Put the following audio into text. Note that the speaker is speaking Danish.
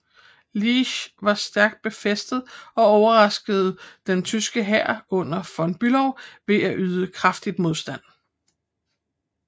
Liège var stærkt befæstet og overraskede den tyske hær under von Bülow ved at yde kraftig modstand